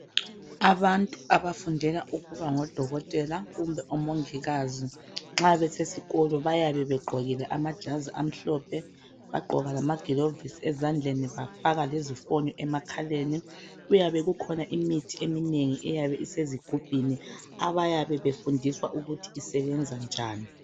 Abantu abafundela ukubangodokotela kumbe omongikazi nxa besesikolo bayabe begqokile amajazi amhlophe bagqoka lamagilovisi ezandleni bafaka lezifonyo emakhaleni. Kuyabe kukhona imithi eminengi eyabe isezigubhini abayabe befundiswa ukuthi isebenza njani.